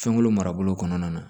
Fɛnko marabolo kɔnɔna na